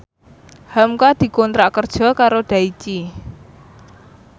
hamka dikontrak kerja karo Daichi